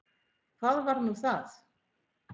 Hvað var nú það?